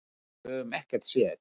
En við höfum ekkert séð.